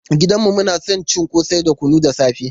Gidan mu muna son cin ƙosai da kunu da safe.